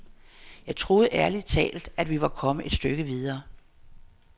Jeg troede ærlig talt, at vi var kommet et stykke videre.